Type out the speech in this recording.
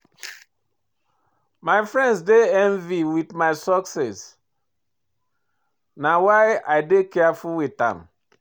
My friend dey envy my success na why I dey careful wit am.